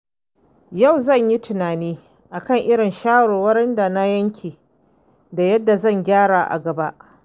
Yau zan yi tunani kan irin shawarwarin da na yanke da yadda zan gyara a gaba.